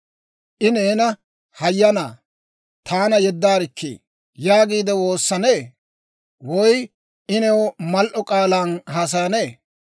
I neena, ‹Hayyanaa taana yeddaarikkii› yaagiide woossanee? Woy I new mal"o k'aalan haasayanee?